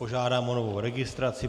Požádám o novou registraci.